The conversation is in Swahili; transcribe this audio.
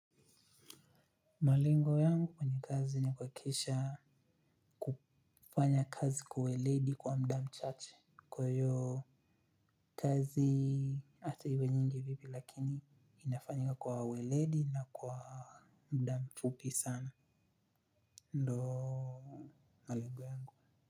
Malengo yangu kwenye kazi ni kuhakisha kufanya kazi kwa weledi kwa mda mchache kwa hiyo kazi. Ata iwe nyingi vipi lakini inafanyika kwa weledi na kwa mda mfupi sana ndoo. Malengo yangu.